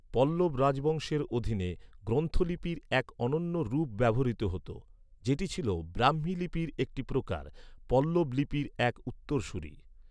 পল্লব রাজবংশের অধীনে, গ্রন্থ লিপির এক অনন্য রূপ ব্যবহৃত হতো, যেটি ছিল ব্রাহ্মী লিপির একটি প্রকার, পল্লব লিপির এক উত্তরসূরি।